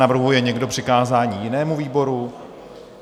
Navrhuje někdo přikázání jinému výboru?